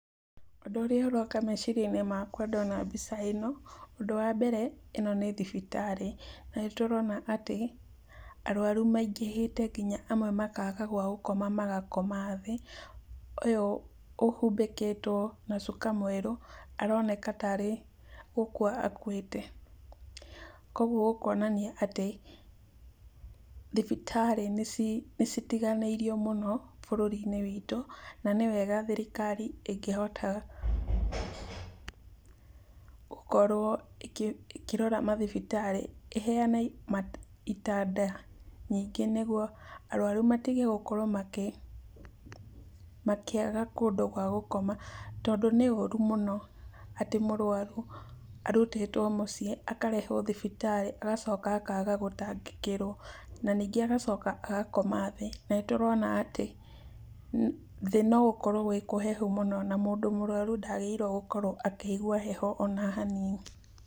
Ũndũ ũrĩa ũroka meciria-inĩ makwa ndona mbica ĩno, ũndũ wa mbere ĩno nĩ thibitarĩ. Na nĩtũrona atĩ, arũarũ maingĩhĩte nginya amwe makaga gwa gũkoma magakoma thĩ. Ũyũ ũhũmbĩkĩtũo na cũko mwerũ aroneka tarĩ gũkũa akũĩte. Kogũo gũkonania atĩ, thibiitarĩ nĩci, nĩcitiganĩirio mũno bũrũri-inĩ witũ na nĩwega thirikari ĩkĩhotaga gũkorũo ĩkĩ, ĩkĩroraga mathibitarĩ, ĩheane ita matanda nyingĩ nĩgũo arwarũ matige gũkorwo makĩ makĩaga kũndũ gwa gũkoma, tondũ nĩũrũ mũno atĩ mũrwarũ arũtĩtũo mũciĩ akarehũo thibitarĩ, agacoka akga gũtangĩkĩrwo, na ningĩ agacoka agakoma thĩ . Na nĩtũrona atĩ thĩ nogũkorũo kũrĩ kũhehũ mũno na mũndũ mũrwarũ ndagĩrĩirũo nĩ gũkorũo akũigũa heho ona hanini.